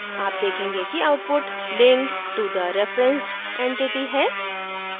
आप देखेंगे कि output linked to the referenced entity है